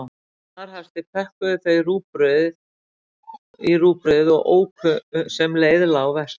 Í snarhasti pökkuðu þau í rúgbrauðið og óku sem leið lá vestur.